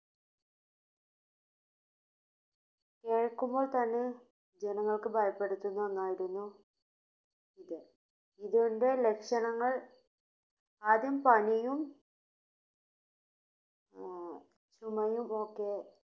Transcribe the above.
കേൾക്കുമ്പോൾത്തന്നെ ജനങ്ങൾക്ക് ഭയപ്പെടുത്തുന്ന ഒന്നായിരുന്നു ഇത് ഇതിന്റെ ലക്ഷണങ്ങൾ ആദ്യം പനിയും ചുമയും ഒക്കെ